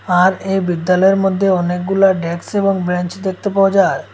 আর এই বিদ্যালয়ের মধ্যে অনেকগুলা ডেকস এবং ব্রেঞ্চ দেখতে পাওয়া যায়।